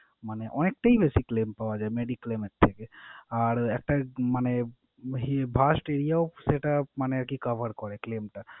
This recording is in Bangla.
মানে অনেকটাই বেশি claim পাওয়া যায় mediclaim এর থেকে। আর একটা মানে এরও সেটা মানে আরকি cover করে claim টা।